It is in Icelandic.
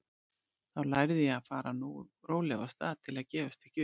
Þá lærði ég að fara nógu rólega af stað til að gefast ekki upp.